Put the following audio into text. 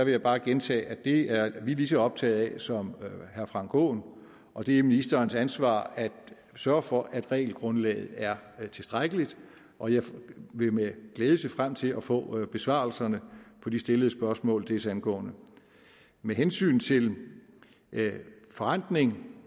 jeg bare gentage at det er vi lige så optaget af som herre frank aaen og det er ministerens ansvar at sørge for at regelgrundlaget er tilstrækkeligt og jeg vil med glæde se frem til at få besvarelserne på de stillede spørgsmål desangående med hensyn til forrentning